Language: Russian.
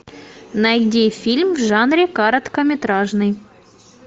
найди фильм в жанре короткометражный